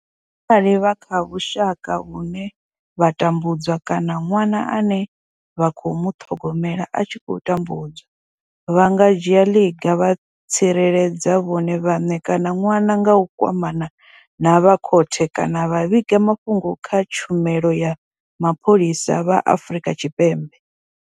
Arali vha kha vhusha ka vhune vha tambu dzwa kana ṅwana ane vha khou muṱhogomela a tshi khou tambudzwa, vha nga dzhia ḽiga vha tsireledza vhone vhaṋe kana ṅwana nga u kwamana na vha khothe kana vha vhiga mafhungo kha vha tshumelo ya mapholisa vha Afrika Tshipembe.